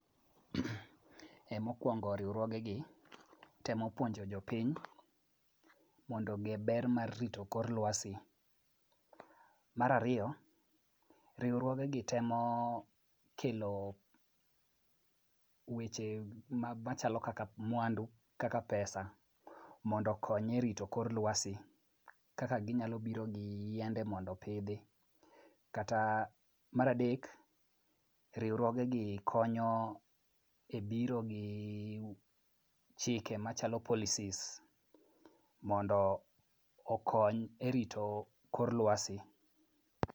Mokwongo, riwruogegi temo puonjo jopiny mondo ong'e ber mar rito kor lwasi. Mar ariyo, riwruogegi temo kelo weche machalo kaka mwandu kaka pesa mondo okony e rito kor lwasi kaka ginyalo biro gi yiende mondo opidhi, kata mar adek, riwruogegi konyo ebiro gi chike machalo policies mondo okony erito kor lwasi.